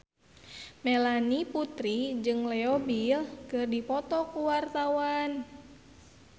Melanie Putri jeung Leo Bill keur dipoto ku wartawan